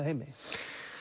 heimi